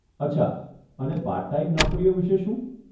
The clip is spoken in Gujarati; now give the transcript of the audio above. અચ્છા, અને પાર્ટ ટાઈમ નોકરીઓ વિષે શું?